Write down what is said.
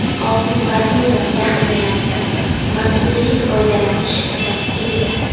Oltin-valyuta zaxiralaridan manzilli foydalanish kerak edi-da.